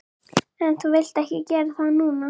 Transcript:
En þú vilt ekki gera það núna.